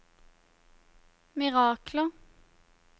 mirakler